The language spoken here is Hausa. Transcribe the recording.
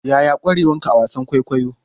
Yaya ƙwarewanka a wasan kwaikwayo?